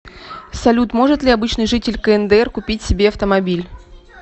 салют может ли обычный житель кндр купить себе автомобиль